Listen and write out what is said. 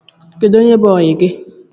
Onye bụ oyi gi?